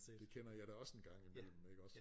Det kender jeg da også en gang i mellem iggås